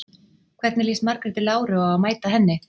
Hvernig líst Margréti Láru á að mæta henni?